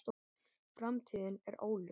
Framtíðin er óljós